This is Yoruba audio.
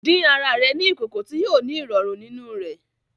Dín àrà rẹ ní ìkòkò ti yóò ni irọrun nínú rẹ